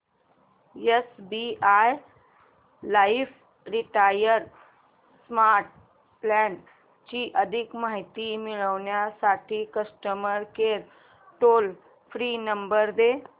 SBI life retire smart plan ची अधिक माहिती मिळविण्यासाठी customer care toll free number दे